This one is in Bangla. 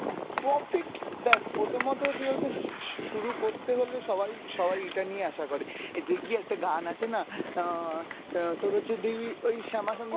profit দেখ প্রথমত কি বলতো শু~ শু~ শুরু করতে হলে সবাই সবাই এটা নিয়ে আশা করে। দেখবি একটা গান আছে না অ্যাঁ তোর হচ্ছে দেখবি ওই শ্যামা সংগীত